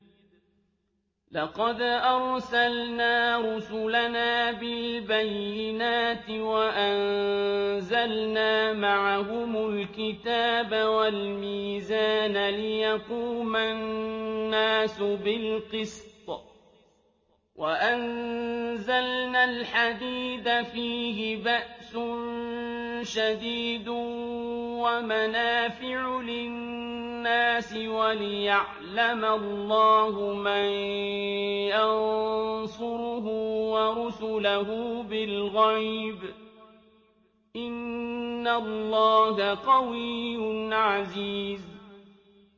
لَقَدْ أَرْسَلْنَا رُسُلَنَا بِالْبَيِّنَاتِ وَأَنزَلْنَا مَعَهُمُ الْكِتَابَ وَالْمِيزَانَ لِيَقُومَ النَّاسُ بِالْقِسْطِ ۖ وَأَنزَلْنَا الْحَدِيدَ فِيهِ بَأْسٌ شَدِيدٌ وَمَنَافِعُ لِلنَّاسِ وَلِيَعْلَمَ اللَّهُ مَن يَنصُرُهُ وَرُسُلَهُ بِالْغَيْبِ ۚ إِنَّ اللَّهَ قَوِيٌّ عَزِيزٌ